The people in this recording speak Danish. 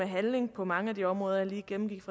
handling på mange af de områder jeg lige gennemgik